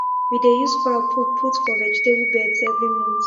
we dey use fowl poo put for vegetable beds every month